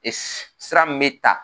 sira n bɛ ta